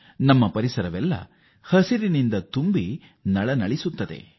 ನಮ್ಮ ಸುತ್ತಲಿನ ಪರಿಸರ ಹಚ್ಚ ಹಸುರಿನಿಂದ ಕಂಗೊಳಿಸುತ್ತವೆ